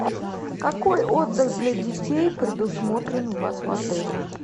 какой отдых для детей предусмотрен у вас в отеле